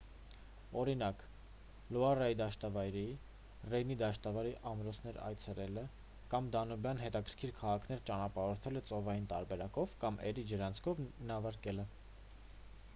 օրինակ լուարի դաշտավայրի ռեյնի դաշտավայրի ամրոցներ այցելելը կամ դանուբյան հետաքրքիր քաղաքներ ճանապարհորդելը ծովային տարբերակով կամ էրի ջրանցքով նավարկելը